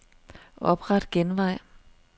Opret genvej.